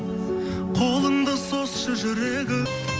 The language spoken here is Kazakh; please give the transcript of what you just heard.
қолыңды созшы жүрегім